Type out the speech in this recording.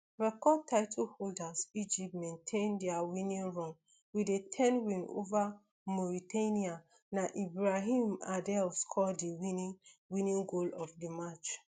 record title holders egypt maintain dia winning run wit a ten win ova mauritania na ibrahim adel score di winning winning goal of di match